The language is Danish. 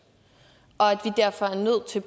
og at vi derfor er nødt til